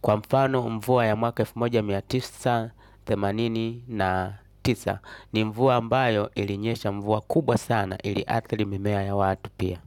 Kwa mfano mvua ya mwaka elfu moja mia tisa themanini na tisa ni mvua ambayo ilinyesha mvua kubwa sana iliathili mimea ya watu pia.